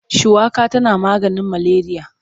Shuwaka tana maganin maleriya.